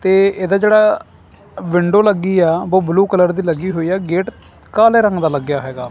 ਤੇ ਇਹਦਾ ਜਿਹੜਾ ਵਿੰਡੋ ਲੱਗੀਆ ਓਹ ਬਲੂ ਕਲਰ ਦੀ ਲੱਗੀ ਹੋਈ ਹੈ ਗੇਟ ਕਾਲੇ ਰੰਗ ਦਾ ਲੱਗਿਆ ਹੈਗਾ।